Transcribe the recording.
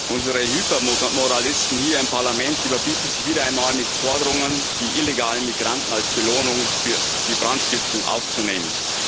Frau Präsidentin! Unsere Hypermoralisten hier im Parlament überbieten sich wieder einmal mit Forderungen, die illegalen Migranten als Belohnung für die Brandstiftung aufzunehmen.